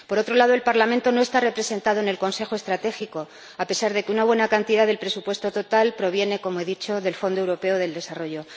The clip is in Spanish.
Por otro lado, el Parlamento no está representado en el consejo estratégico, a pesar de que una buena cantidad del presupuesto total proviene, como he dicho, del Fondo Europeo de Desarrollo.